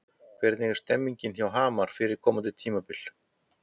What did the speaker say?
Hvernig er stemningin hjá Hamar fyrir komandi tímabil?